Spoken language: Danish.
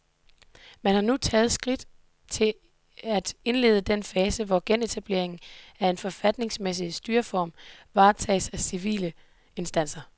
Man har nu taget skridt til at indlede den fase, hvor genetableringen af en forfatningsmæssig styreform varetages af civile instanser.